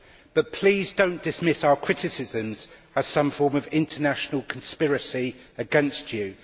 But please do not dismiss our criticisms as some form of international conspiracy against you.